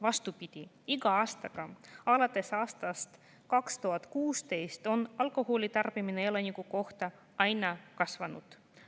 Vastupidi, alates aastast 2016 on alkoholi tarbimine elaniku kohta iga aastaga aina kasvanud.